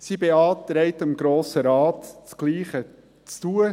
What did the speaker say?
Sie beantragt dem Grossen Rat, dasselbe zu tun.